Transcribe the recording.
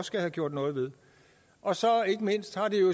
skal have gjort noget ved og så har det ikke mindst